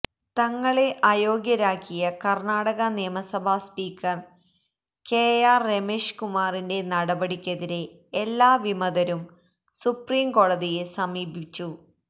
തങ്ങളെ അയോഗ്യരാക്കിയ കർണാടക നിയമസഭാ സ്പീക്കർ കെ ആർ രമേശ് കുമാറിന്റെ നടപടിക്കെതിരെ എല്ലാ വിമതരും സുപ്രീംകോടതിയെ സമീപിച്ചു